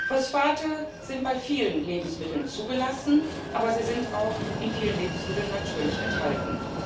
Phosphate sind bei vielen Lebensmitteln zugelassen, aber sie sind auch in vielen Lebensmitteln natürlich enthalten.